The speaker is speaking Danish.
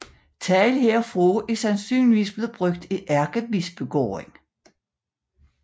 Tegl herfra er sandsynligvis blevet brugt i Ærkebispegården